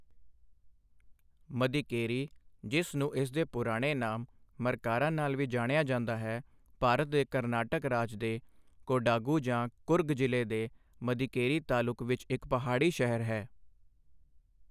ਮਦੀਕੇਰੀ, ਜਿਸ ਨੂੰ ਇਸ ਦੇ ਪੁਰਾਣੇ ਨਾਮ ਮਰਕਾਰਾ ਨਾਲ ਵੀ ਜਾਣਿਆ ਜਾਂਦਾ ਹੈ, ਭਾਰਤ ਦੇ ਕਰਨਾਟਕ ਰਾਜ ਦੇ ਕੋਡਾਗੂ ਜਾਂ ਕੁਰਗ ਜ਼ਿਲ੍ਹੇ ਦੇ ਮਦੀਕੇਰੀ ਤਾਲੁਕ ਵਿੱਚ ਇੱਕ ਪਹਾੜੀ ਸ਼ਹਿਰ ਹੈ।